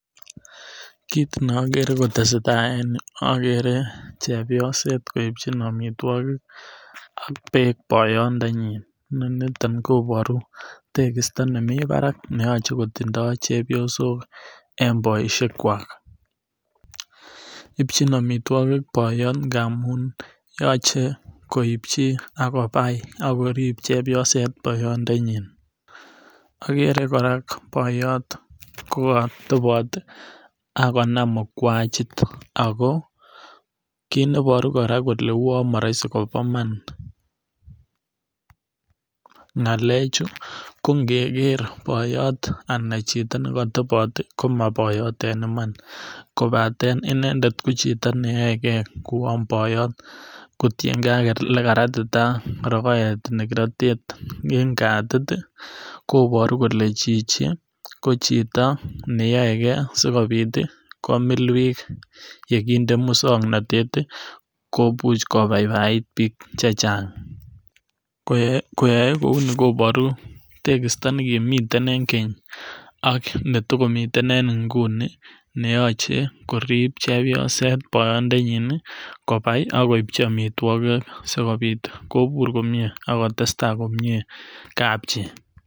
Kit nokere kotesetai en yu, okere chebyoset koibchin omitwokik ak beek boyondenyin, ononiton koboruu tekisto nemii barak neyoche kotindo chebyosok en boishekwak. Ibichin omitwokik boyot ngamun yoche koibchi ak kobai ak korib chebyoset boyondenyin, ogere koraa boyot kotebot ak konam mugwachit ak ko kit neboruu koraa kelee moroisi bo iman ngalechu ko ngere boyot anan chito neko tebot komo boyot en iman kobaten inendet ko chito neyoekee kouwon boyot kotiengee ele karatitaa rogoet en katit koboru kolee chichi ko chito ne yoegee sikopit komil bik yegindee muswongnotet komuch kobabait biik chechang koyoe kouni koboru tekisto nekimii en keny an ne tokomii en ngunii neyoche korib chebyoset boyondenyin kobai ak koibchi omitwokik sikopit kobur komie ak kotestaa komie kapchi